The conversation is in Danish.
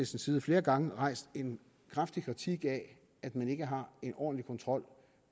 side flere gange rejst en kraftig kritik af at man ikke har en ordentlig kontrol